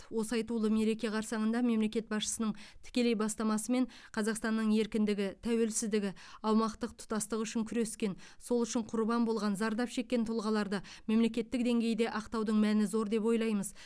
осы айтулы мереке қарсаңында мемлекет басшысының тікелей бастамасымен қазақстанның еркіндігі тәуелсіздігі және аумақтық тұтастығы үшін күрескен сол үшін құрбан болған зардап шеккен тұлғаларды мемлекеттік деңгейде ақтаудың мәні зор деп ойлаймыз